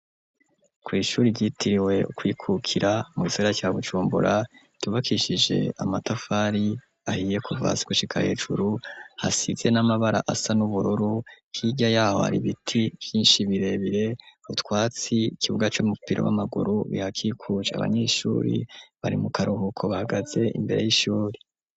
Kw ishuri ryitiriwe kwikukira mugisagara ca BuJumbura Cubakishije amatafari ahiye kuva hasi gushika hejuru hasize n'amabara asa n'ubururu .Hirya yaho hari biti Vyinshi birebire butwatsi kibuga c'umupira w'amaguru bihakikuJe abanyeshuri bari mu karuhuko bagaze imbere y'ishuri.